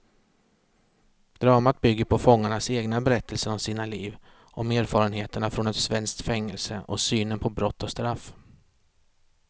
Dramat bygger på fångarnas egna berättelser om sina liv, om erfarenheterna från ett svenskt fängelse och synen på brott och straff.